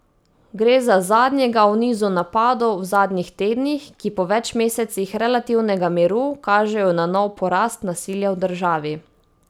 Gre za zadnjega v nizu napadov v zadnjih tednih, ki po več mesecih relativnega miru kažejo na nov porast nasilja v državi.